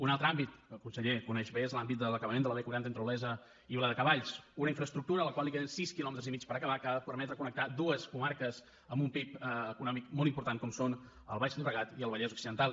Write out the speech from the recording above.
un altre àmbit que el conseller coneix bé és l’àmbit de l’acabament de la b quaranta entre olesa i viladecavalls una infraestructura a la qual queden sis quilòmetres i mig per acabar que ha de permetre connectar dues comarques amb un pib econòmic molt important com són el baix llobregat i el vallès occidental